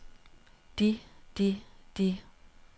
de de de